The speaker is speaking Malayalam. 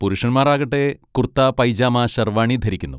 പുരുഷന്മാർ ആകട്ടെ കുർത്ത, പൈജാമ, ഷെർവാണി ധരിക്കുന്നു.